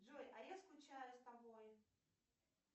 джой а я скучаю с тобой